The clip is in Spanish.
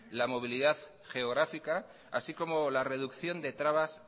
la movilidad geográfica así como la reducción de trabas